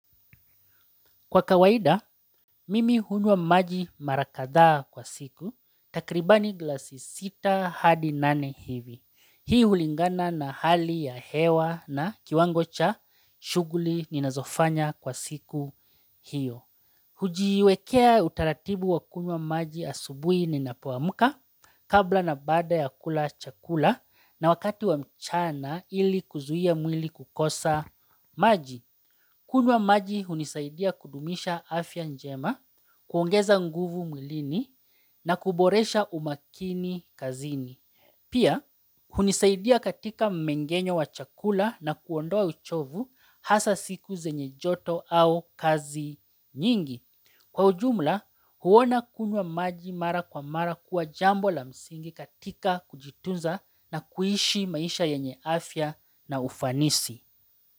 Kwa kawaida, mimi hunwa maji mara kadhaa kwa siku, takribani glasi sita hadi nane hivi. Hii hulingana na hali ya hewa na kiwango cha shuguli ninazofanya kwa siku hiyo. Hujiwekea utaratibu wa kunwa maji asubui ninapoamka kabla na bada ya kula chakula na wakati wa mchana ili kuzuia mwili kukosa maji. Kunwa maji hunisaidia kudumisha afya njema, kuongeza nguvu mwlini na kuboresha umakini kazini. Pia, hunisaidia katika mmengenyo wa chakula na kuondoa uchovu hasa siku zenye joto au kazi nyingi. Kwa ujumla, huona kunwa maji mara kwa mara kuwa jambo la msingi katika kujitunza na kuishi maisha yenye afya na ufanisi.